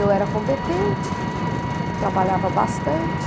Eu era competente, trabalhava bastante.